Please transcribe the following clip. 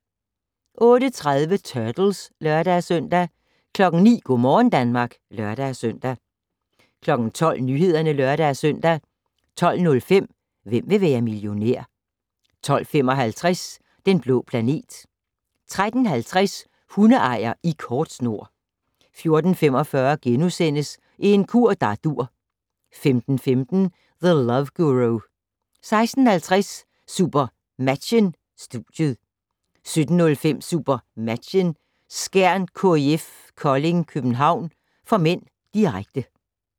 08:30: Turtles (lør-søn) 09:00: Go' morgen Danmark (lør-søn) 12:00: Nyhederne (lør-søn) 12:05: Hvem vil være millionær? 12:55: Den blå planet 13:50: Hundeejer i kort snor 14:45: En kur der dur * 15:15: The Love Guru 16:50: SuperMatchen: Studiet 17:05: SuperMatchen: Skjern-KIF Kolding København (m), direkte